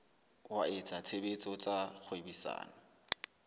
wa etsa tshebetso tsa kgwebisano